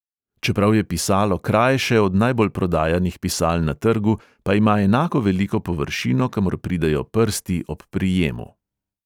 Čeprav je pisalo krajše od najbolj prodajanih pisal na trgu, pa ima enako veliko površino, kamor pridejo prsti ob prijemu.